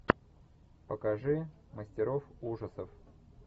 покажи мастеров ужасов